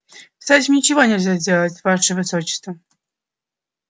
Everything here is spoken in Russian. с этим ничего нельзя сделать ваше высочество